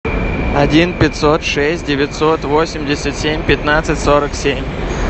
один пятьсот шесть девятьсот восемьдесят семь пятнадцать сорок семь